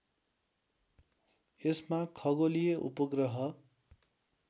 यसमा खगोलीय उपग्रह